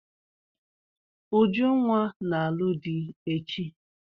Ujunwa na-alụ di echi.